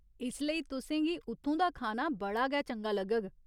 इसलेई तुसें गी उत्थूं दा खाना बड़ा गै चंगा लग्गग।